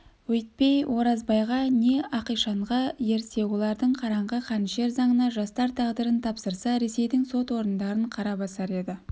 өйтпей оразбайға не ақишанға ерсе олардың қараңғы қанішер заңына жастар тағдырын тапсырса ресейдің сот орындарын қара басар еді